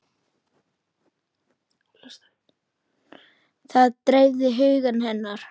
Það dreifði huga hennar.